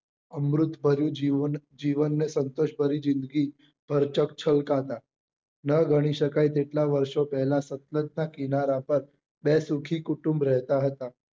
અમૃત ભર્યું જીવન ને ને સંતોષ ભરી જિંદગી ભરચક છલકાતા નાં ગણી શકાય એટલા વર્ષો પહેલા સતલજ ના કિનારા પર બે સુખી કુટુંબ રહેતા હતા